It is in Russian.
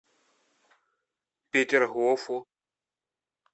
петергофу